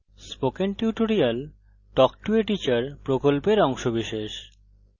spoken tutorial talk to a teacher প্রকল্পের অংশবিশেষ